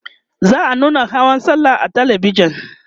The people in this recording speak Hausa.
za'a nuna hawan sallah a talabijan